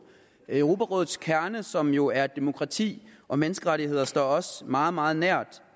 europarådets kerne som jo er demokrati og menneskerettigheder står os meget meget nær